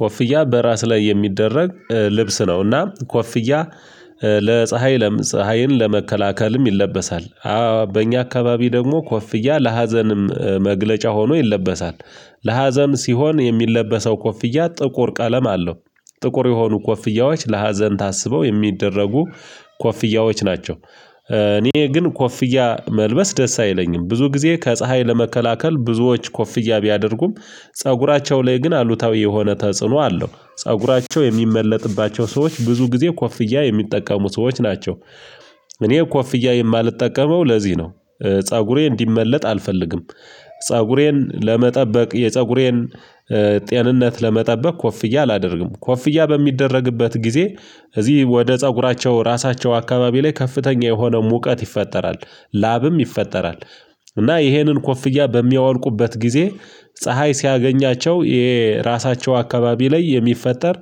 ኮፍያ በራስ ላይ የሚደረግ ልብስ ነውና ኮፍያ ለፀሀይ ፀሀይን ለመከላከልም ይለበሳል። በእኛ አካባቢ ደግሞ ኮፍያ ለሀዘንም መግለጫ ሆኖ ይለበሳል። ለሀዘን ሲሆን የሚለበሰው ኮፍያ ጥቁር ቀለም አለው። ጥቁር የሆኑ ኮፍያዎች ለሀዘን ታስበው የሚደረጉ ኮፍያዎች ናቸው። እኔ ግን ኮፍያ መልበስ ደስ አይለኝም ብዙ ጊዜ ከፀሀይ ለመከላከል ብዙዎች ኮፍያ ቢያደርጉም ፀጉራቸው ላይ ግን አሉታዊ የሆነ ተጽዕኖ አለው ፀጉራቸው የሚመለጥባቸው ሰዎች ብዙ ጊዜ ኮፍያ የሚጠቀሙ ሰዎች ናቸው። እኔ ኮፍያ የማልጠቀመው ለዚህ ነው ፀጉሬ እንዲመለጥ አልፈልግም። ፀጉሬን ለመጠበቅ የፀጉሬን ጤንነት ለመጠበቅ ኮፍያ አላደርግም። ኮፍያ በሚደረግበት ጊዜ እዚህ ወደ ፀጉራቸው ራሳቸው አካባቢ ላይ ከፍተኛ የሆነው ሙቀት ይፈጠራል ላብም ይፈጠራል። እና ይሄንን ኮፍያ በሚያወልቁበት ጊዜ ፀሀይ ሲያገኛቸው የራሳቸው አካባቢ ላይ የሚፈጠር